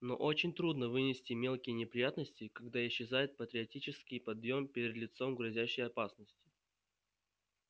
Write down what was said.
но очень трудно вынести мелкие неприятности когда исчезает патриотический подъём перед лицом грозящей опасности